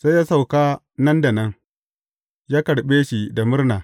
Sai ya sauka nan da nan, ya karɓe shi da murna.